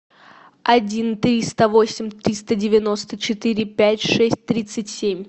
один триста восемь триста девяносто четыре пять шесть тридцать семь